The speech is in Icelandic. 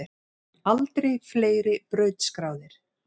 Aldrei fleiri brautskráðir